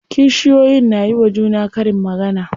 Kishiyoyin na yiwa juna karin magana.